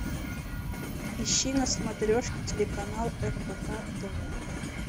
ищи на смотрешке телеканал рбк тв